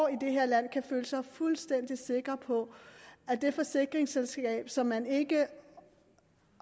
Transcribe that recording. i det her land kan føle sig fuldstændig sikker på at det forsikringsselskab som man ikke